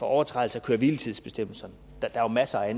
overtrædelser af køre hvile tids bestemmelserne der er jo masser af